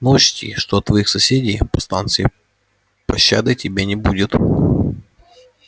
но учти что от твоих соседей по станции пощады тебе не будет